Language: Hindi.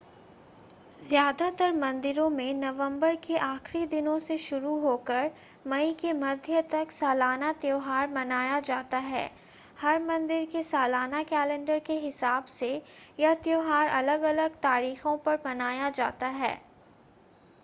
ज़्यादातर मंदिरों में नवंबर के आखिरी दिनों से शुरू होकर मई के मध्य तक सालाना त्यौहार मनाया जाता है हर मंदिर के सालाना कैलेंडर के हिसाब से यह त्यौहार अलग-अलग तारीखों पर मनाया जाता है